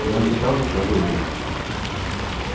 но я не стал ничего говорить